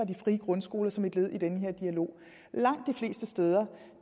de frie grundskoler som et led i den her dialog langt de fleste steder